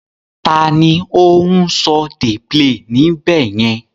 Ta ni ó ń "dey play" níbẹ̀ yẹn?